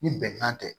Ni bɛnkan tɛ